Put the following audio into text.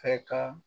Fɛ ka